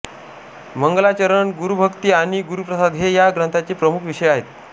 मंगलाचरण गुरुभक्ती आणि गुरुप्रसाद हे या ग्रंथाचे प्रमुख विषय आहेत